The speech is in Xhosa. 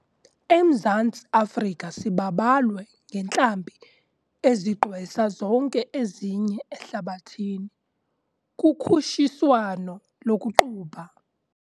EMzantsi Afrika sibabalwe ngentlambi ezigqwesa zonke ezinye ehlabathini kukhutshiswano lokuqubha.